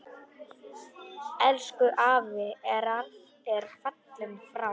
Elsku afi er fallinn frá.